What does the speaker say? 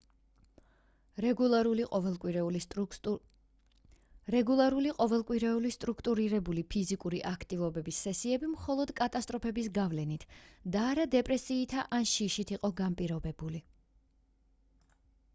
რეგულარული ყოველკვირეული სტრუქტურირებული ფიზიკური აქტივობების სესიები მხოლოდ კატასტროფების გავლენით და არა დეპრესიითა ან შიშით იყო განპირობებული